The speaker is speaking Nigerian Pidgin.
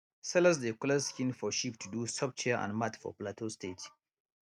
sellers dey collect skin of sheep to do soft chair and mat for plateau state